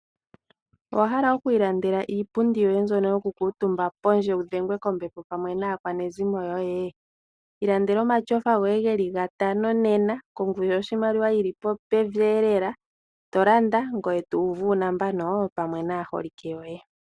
Owahala oku ilandela iipundi yoye mbyono yoku kuutumba pondje wudhengwe kombepo pamwe naakwanezimo yoye? Ilandela omatyofa goye geli gatano nena kongushu yoshimaliwa yili pevi lela tolanda ngoye to uvu uuntsa pamwe naaholike yoye.